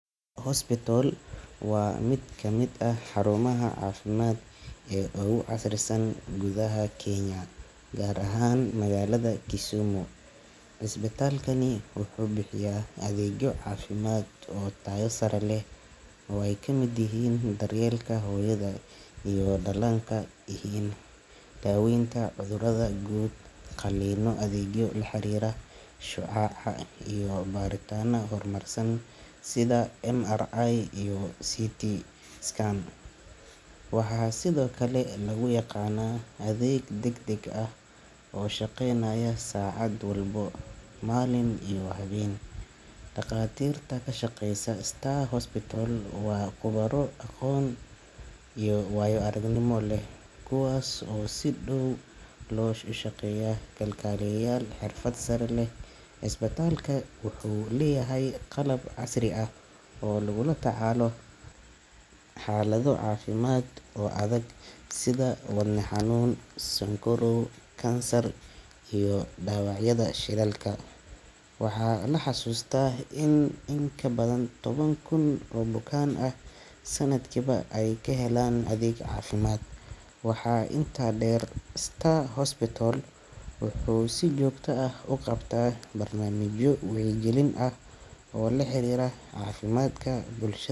Star Hospital waa mid ka mid ah xarumaha caafimaad ee ugu casrisan gudaha Kenya, gaar ahaan magaalada Kisumu. Cisbitaalkani wuxuu bixiyaa adeegyo caafimaad oo tayo sare leh oo ay ka mid yihiin daryeelka hooyada iyo dhallaanka, daaweynta cudurrada guud, qalliinno, adeegyo la xiriira shucaaca, iyo baaritaanno horumarsan sida MRI iyo CT scan. Waxaa sidoo kale lagu yaqaannaa adeeg degdeg ah oo shaqeynaya saacad walba, maalin iyo habeen. Dhakhaatiirta ka shaqeysa Star Hospital waa khubaro aqoon iyo waayo aragnimo leh, kuwaas oo si dhow ula shaqeeya kalkaaliyayaal xirfad sare leh. Cisbitaalku wuxuu leeyahay qalab casri ah oo lagula tacaalo xaalado caafimaad oo adag sida wadne xanuun, sonkorow, kansar iyo dhaawacyada shilalka. Waxaa la xasuustaa in in ka badan toban kun oo bukaan ah sanadkiiba ay ka helaan adeeg caafimaad. Waxaa intaa dheer, Star Hospital wuxuu si joogto ah u qabtaa barnaamijyo wacyigelin ah oo la xiriira caafimaadka bulsha.